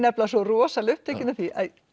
svo rosalega upptekin af því